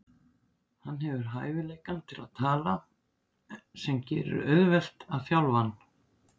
Hann hefur hæfileikann til að tala sem gerir auðvelt að þjálfa hann.